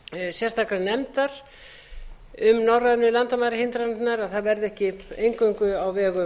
sérstakrar nefndar um norrænu landamærahindranirnar að það verði ekki eingöngu á vegum